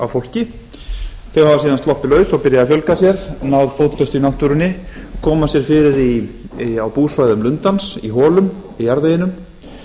af fólki þau hafa síðan sloppið laus og byrjað að fjölga sér náð fótfestu í náttúrunni koma sér fyrir á búsvæðum lundans í holum í jarðveginum